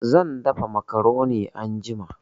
Zan dafa macaroni anjima